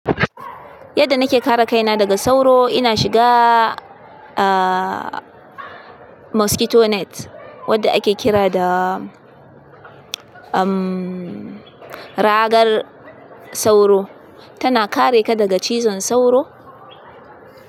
Yadda nake kare kaina daga sauro, ina shiga, ah, mosquito net wadda ake kira da, um, ragar sauro. Tana kare ka daga cizon sauro.